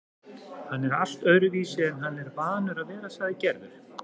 Hann er allt öðruvísi en hann er vanur að vera, sagði Gerður.